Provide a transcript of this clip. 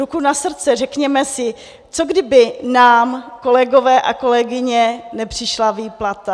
Ruku na srdce, řekněme si, co kdyby nám, kolegové a kolegyně, nepřišla výplata?